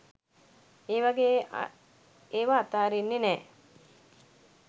ඒ වගේ ඒවා අතාරින්නේ නෑ